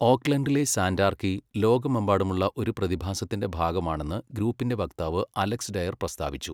ഓക്ക്ലൻഡിലെ Santarchy ലോകമെമ്പാടുമുള്ള ഒരു പ്രതിഭാസത്തിന്റെ ഭാഗമാണെന്ന് ഗ്രൂപ്പിന്റെ വക്താവ് അലക്സ് ഡയർ പ്രസ്താവിച്ചു.